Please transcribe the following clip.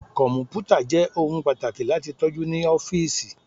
Kọmputa jẹ ohun pataki lati tọju ni ọfiisi